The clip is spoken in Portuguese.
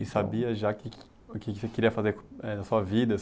E sabia já que que o que que queria fazer eh, da sua vida?